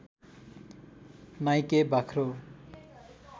Nike बाख्रो